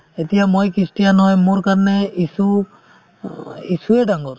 এতিয়া মই খ্ৰীষ্টিয়ান হয় মোৰ কাৰণে যীচু অ যীচুয়ে ডাঙৰ